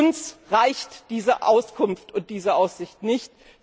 Uns reicht diese Auskunft und diese Aussicht nicht!